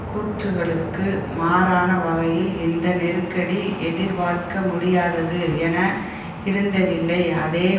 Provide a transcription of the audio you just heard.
கூற்றுக்களுக்கு மாறான வகையில் இந்த நெருக்கடி எதிர்பார்க்க முடியாதது என இருந்ததில்லை அதே